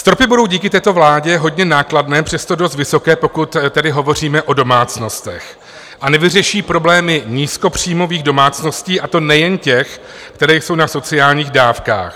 Stropy budou díky této vládě hodně nákladné, přesto dost vysoké, pokud tedy hovoříme o domácnostech, a nevyřeší problémy nízkopříjmových domácností, a to nejen těch, které jsou na sociálních dávkách.